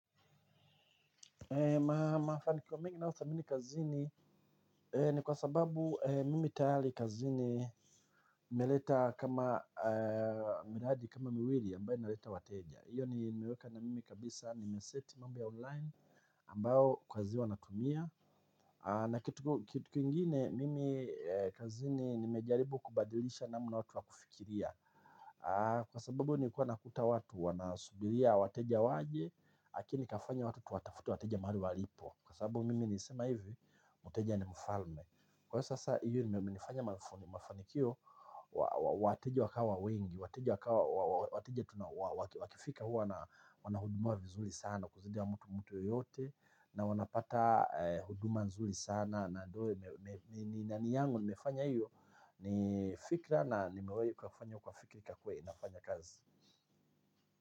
Ma mafanikio mengi nayo thamini kazini ni kwa sababu mimi tayari kazini meleta kama miradi kama miwili ambayo naleta wateja. Iyo ni meweka na mimi kabisa nimeseti mambo ya online ambayo kwa zi wanatumia na kitu kitu kingine mimi kazini nimejaribu kubadilisha namna watu wakufikiria kwa sababu nilikuwa nakuta watu wanasubiria wateja waje lakini kafanya watu tuwatafute wateja mahali walipo. Kwa sababu mimi nilisema hivi, mteja ni mfalme. Kwa sasa hiyo imenifanya mafanikio wateja wakawa wengi wateja wakawa wakifika huwa wanahudumiwa vizuri sana kuzidi mtu yeyote na wanapata huduma nzuri sana niimani yangu nimefanya hiyo nifikra na nimewahi kufanya ikafanya kazi.